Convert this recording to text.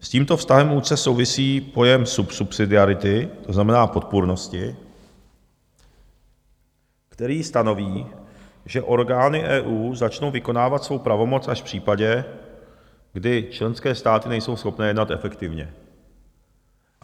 S tímto vztahem úzce souvisí pojem subsidiarity, to znamená podpůrnosti, který stanoví, že orgány EU začnou vykonávat svou pravomoc až v případě, kdy členské státy nejsou schopné jednat efektivně."